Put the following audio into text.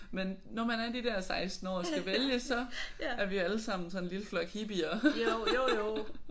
Men når man er de der 16 år og skal vælge så er vi jo alle sammen sådan en lille flok hippier